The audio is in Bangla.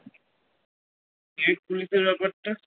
ব্যাপারটা